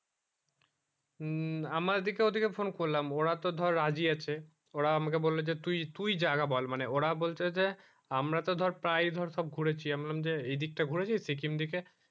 হম আমার দিকে ঐই দিকে phone করলাম ওরা তো ধর রাজি আছে ওরা আমাকে বললো যে তুই তুই জায়গা বল মানে ওরা বলছে যে আমরা তো ধর প্রায় ধর সব ঘুরেছি আমি বললাম যে এই দিক টা ঘুরেছিস সিকিম দিকে